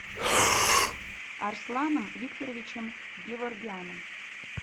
арсланом викторовичем геворгяном